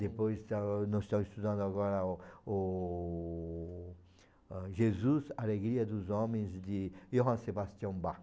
Depois, ah, nós estamos estudando agora o o ah Jesus, Alegria dos Homens de Johann Sebastian Bach.